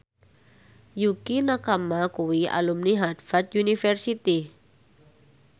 Yukie Nakama kuwi alumni Harvard university